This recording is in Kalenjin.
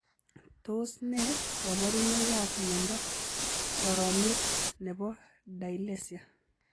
Tos nee kabarunoik ap miondoo soromiet nepo dilesia?